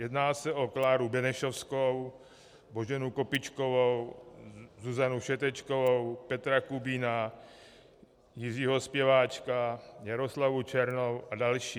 Jedná se o Kláru Benešovskou, Boženu Kopičkovou, Zuzanu Všetečkovou, Petra Kubína, Jiřího Spěváčka, Jaroslavu Černou a další.